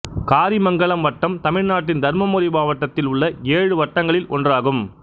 காரிமங்கலம் வட்டம் தமிழ்நாட்டின் தர்மபுரி மாவட்டத்தில் உள்ள ஏழு வட்டங்களில் ஒன்றாகும்